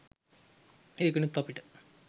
ඒකෙනුත් අපිට